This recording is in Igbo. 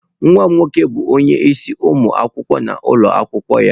Nwa m nwoke bụ onye isi ụmụ akwụkwọ n'ụlọ akwụkwọ ya.